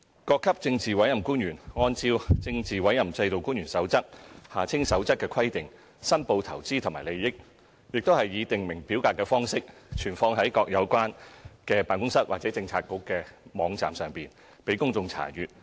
各級政治委任官員按照《政治委任制度官員守則》的規定申報的投資和利益，亦以訂明表格的方式存放在各個有關的辦公室或政策局的網站上，供公眾查閱。